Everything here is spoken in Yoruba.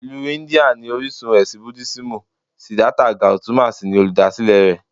Ìlú India ni orísun ẹ̀sìn Búdísìmù Siddhartha Gautama sì ni olùdásílẹ̀ rẹ̀